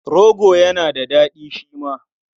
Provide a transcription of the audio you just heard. Rogo yana da daɗi shi ma.